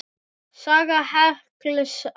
Saga hekls á Íslandi